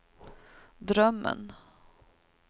drömmen